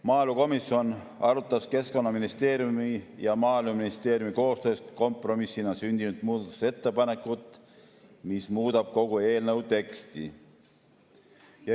Maaelukomisjon arutas Keskkonnaministeeriumi ja Maaeluministeeriumi koostöös kompromissina sündinud muudatusettepanekut, mis muudab kogu eelnõu teksti.